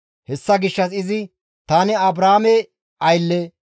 Hessa gishshas izi, «Tani Abrahaame aylle.